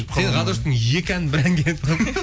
сен ғадоштың екі әнін бір әнге тығып